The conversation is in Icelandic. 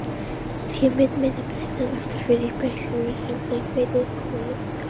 Sé mynd minni bregða aftur fyrir í speglinum: Þunglamalegt kvendýr komið að burði.